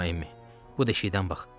Bu deşikdən bax.